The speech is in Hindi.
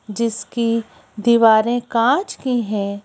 जिसकी दीवारें काँच की हैं।